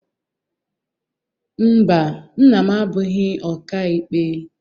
Mba, nna m abụghị ọka ikpe.